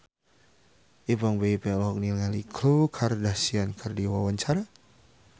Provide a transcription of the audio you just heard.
Ipank BIP olohok ningali Khloe Kardashian keur diwawancara